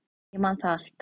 Ég man það allt.